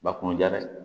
Ba kun ja dɛ